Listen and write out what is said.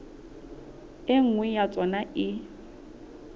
e nngwe ya tsona e